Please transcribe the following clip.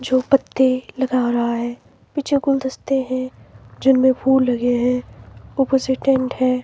जो पत्ते लगा रहा है पीछे गुलदस्ते हैं जिनमें फूल लगे हैं ऊपर से टेंट है।